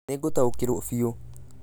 Nĩ ngũtaũkĩrũo biũ.